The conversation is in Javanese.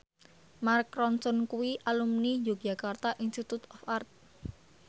Mark Ronson kuwi alumni Yogyakarta Institute of Art